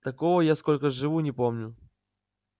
такого я сколько живу не помню